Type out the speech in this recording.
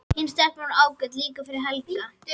Hin stelpan er ágæt líka fyrir Helga.